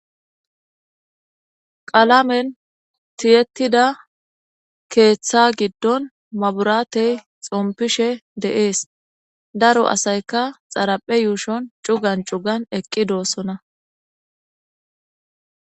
Qalamen tiyetida ketha gidon maburatey xompishe de'es. Daro asayka xaraphe yuushon c'ugan c'ugan eqidi de'osona.